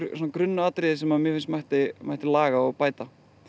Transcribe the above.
grunnatriði sem mætti mætti laga og bæta